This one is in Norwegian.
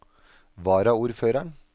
varaordføreren